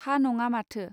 हा नङा माथो.